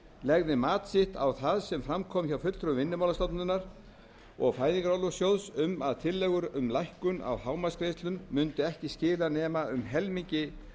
legði mat sitt á það sem fram kom hjá fulltrúa vinnumálastofnunar og fæðingarorlofssjóðs um að tillögur um lækkun á hámarksgreiðslum mundu ekki skila nema um helmingi